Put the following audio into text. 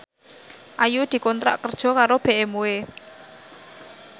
Ayu dikontrak kerja karo BMW